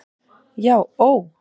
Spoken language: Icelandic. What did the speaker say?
Já ó.